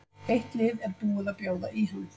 Eitt lið er búið að bjóða í hann.